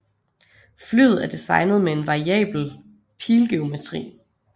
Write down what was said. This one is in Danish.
Flyet er designet med en variabel pilgeometri